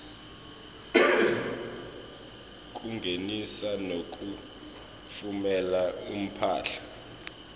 kungenisa nekutfumela imphahla